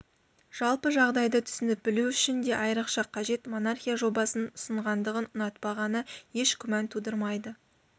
жалпы жағдайды түсініп білу үшін де айрықша қажет монархия жобасын ұсынғандығын ұнатпағаны еш күмән тудырмайды